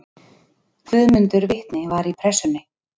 Guðmundur vitni var í Pressunni.